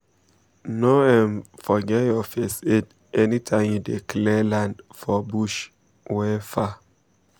no um forget your first aid anytime you dey clear land for bush wey um far